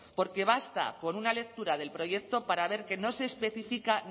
porque basta con una lectura del proyecto para ver que no se especifica